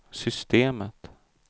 systemet